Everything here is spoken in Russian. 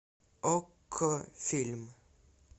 окко фильм